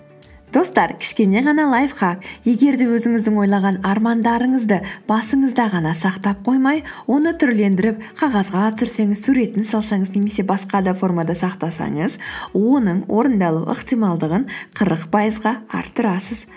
достар кішкене ғана лайфхак егер де өзіңіздің ойлаған армандарыңызды басыңызда ғана сақтап қоймай оны түрлендіріп қағазға түсірсеңіз суретін салсаңыз немесе басқа да формада сақтасаңыз оның орындалу ықтималдығын қырық пайызға арттырасыз